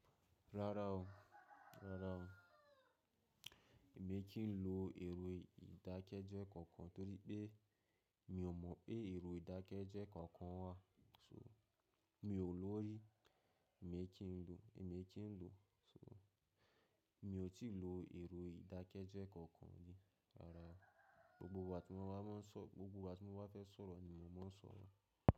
Rárá o, rárá o. Èmi kì í lo èrò ìdákẹ́jọ kankan torí pé mi ò mọ̀ pé èrò ìdákẹ́jọ kankan wà. Mi ò lórí, èmi kì í lo, èmi kì í lo. So mi ò tí lo èrò ìdákẹ́jọ kankan rí. Rárá o. Gbogbo ìgbà tí mo máa sọ̀, gbogbo ìgbà tí mo bá fẹ́ sọ̀rọ̀ ni mò ń máa ń sọ̀rọ̀.